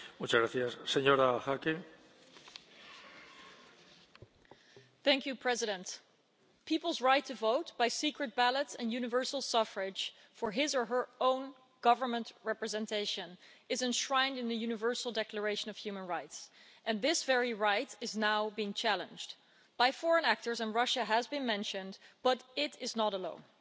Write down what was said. Mr President, a person's right to vote by secret ballot and universal suffrage for his or her own government representation is enshrined in the Universal Declaration of Human Rights and this very right is now being challenged by foreign actors and Russia has been mentioned but it is not alone.